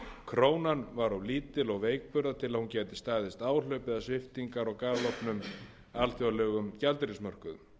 krónan var of lítil og veikburða til að hún gæti staðist áhlaup eða sviptingar á galopnum alþjóðlegum gjaldeyrismörkuðum